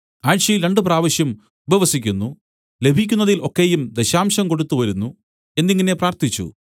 ആഴ്ചയിൽ രണ്ടുപ്രാവശ്യം ഉപവസിക്കുന്നു ലഭിക്കുന്നതിൽ ഒക്കെയും ദശാംശം കൊടുത്തുവരുന്നു എന്നിങ്ങനെ പ്രാർത്ഥിച്ചു